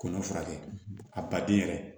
Kɔnɔn furakɛ a ba den yɛrɛ